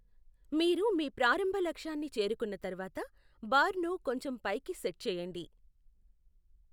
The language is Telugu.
మీరు మీ ప్రారంభ లక్ష్యాన్ని చేరుకున్న తర్వాత, బార్ను కొంచెం పైకి సెట్ చేయండి.